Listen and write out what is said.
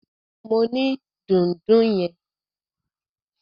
Mo ni dùndún yẹn.